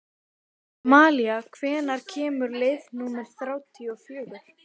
Stundum sátu þar konur með permanent eða menn með hatta.